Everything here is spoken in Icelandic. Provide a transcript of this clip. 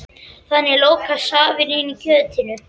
Þannig lokast safinn inni í kjötinu.